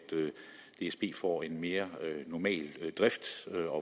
dsb får en mere normal drift